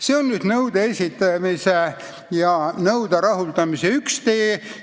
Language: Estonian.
See on nõude esitamise ja nõude rahuldamise üks tee.